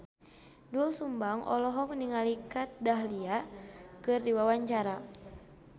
Doel Sumbang olohok ningali Kat Dahlia keur diwawancara